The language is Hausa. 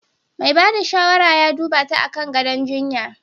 Mai ba da shawara ya duba ta akan gadon jinya.